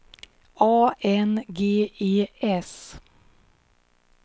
A N G E S